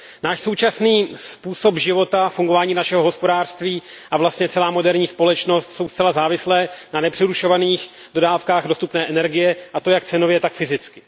Náš současný způsob života, fungování našeho hospodářství a vlastně celá moderní společnost jsou zcela závislé na nepřerušovaných dodávkách dostupné energie, a to jak cenově, tak fyzicky.